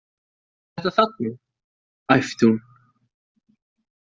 Þetta þarna, æpti hún.